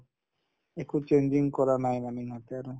একো changing কৰা নাই মানে ইহঁতে আৰু